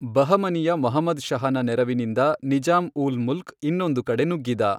ಬಹಮನಿಯ ಮಹಮದ್ ಷಹನ ನೆರವಿನಿಂದ ನಿಜಾಮ್ ಊಲ್ ಮುಲ್ಕ್ ಇನ್ನೊಂದು ಕಡೆ ನುಗ್ಗಿದ.